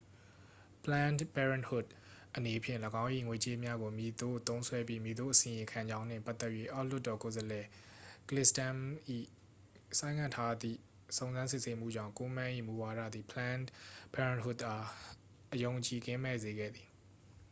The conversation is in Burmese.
planned parenthood အနေဖြင့် ၎င်း၏ ငွေကြေးများကို မည်သို့သုံးစွဲပြီး မည်သို့အစီရင်ခံကြောင်းနှင့် ပတ်သက်၍ အောက်လွှတ်တော်ကိုယ်စားလှယ် ကလစ်စတမ်းစ်၏ ဆိုင်းငံ့ထားသည့် စုံစမ်းစစ်ဆေးမှုကြောင့် ကိုးမန်း၏ မူဝါဒသည် planned parenthood အား အယုံအကြည်ကင်းမဲ့စေခဲ့သည်